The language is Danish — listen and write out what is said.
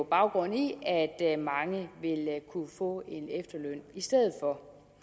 baggrund i at at mange vil kunne få en efterløn i stedet for